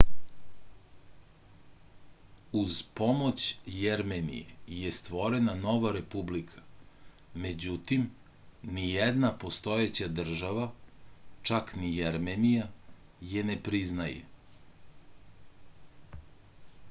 uz pomoć jermenije je stvorena nova republika međutim nijedna postojeća država čak ni jermenija je ne priznaje